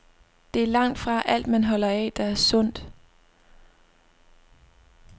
Det er langtfra alt, man holder af, der er sundt.